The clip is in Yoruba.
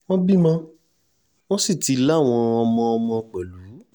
wọ́n bímọ wọ́n sì ti láwọn ọmọọmọ pẹ̀lú